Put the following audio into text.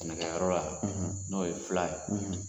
Nɛgɛyɔrɔ la, n'o ye fila ye.